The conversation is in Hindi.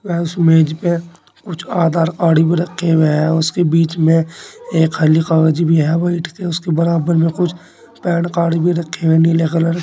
उसे मेज पे कुछ आधार कार्ड भी रखे हुए हैं उसके बीच मे एक खाली कागज भी है ओ इट उसके बराबर में कुछ पैन कार्ड भी रखे हुए नीले कलर --